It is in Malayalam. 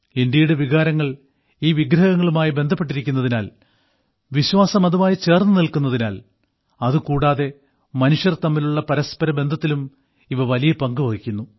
ഇന്ത്യയുടെ വികാരങ്ങൾ ഈ വിഗ്രഹങ്ങളുമായി ബന്ധപ്പെട്ടിരിക്കുന്നതിനാൽ വിശ്വാസം അതുമായി ചേർന്നു നിൽക്കുന്നതിനാൽ അത് കൂടാതെ മനുഷ്യർ തമ്മിലുള്ള പരസ്പര ബന്ധത്തിലും ഇവ വലിയ പങ്ക് വഹിക്കുന്നു